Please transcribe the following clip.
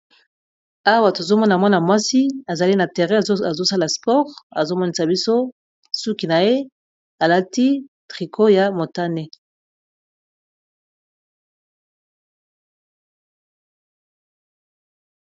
Awa tozomona mwana-mwasi azali na terre azosala spore azomonisa biso suki na ye alati triko ya motane